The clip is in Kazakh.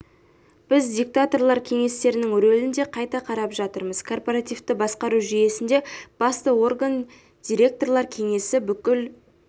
біз директорлар кеңестерінің рөлін де қайта қарап жатырмыз корпоративті басқару жүйесінде басты орган директорлар кеңесі бүкіл